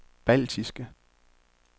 baltiske